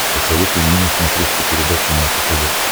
посоветуй мне на смотрешке передачу наше тв